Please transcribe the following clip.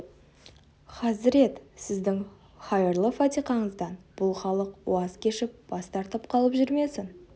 хазірет сіздің хайырлы фатиқаңыздан бұл халық уаз кешіп бас тартып қалып жүрмесін